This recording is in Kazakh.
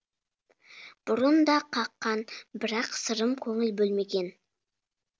бұрын да қаққан бірақ сырым көңіл бөлмеген